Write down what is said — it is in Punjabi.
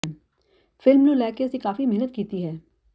ਫਿਲਮ ਨੂੰ ਲੈ ਕੇ ਅਸੀਂ ਕਾਫੀ ਮਿਹਨਤ ਕੀਤੀ ਹੈ